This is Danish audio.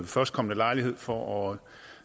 førstkommende lejlighed for at